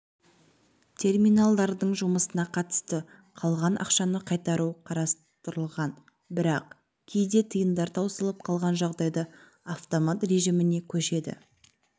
терминалдардың жұмысына қатысты қалған ақшаны қайтару қарастырылған бірақ кейде тиындар таусылып қалған жағдайда автомат режіміне көшеді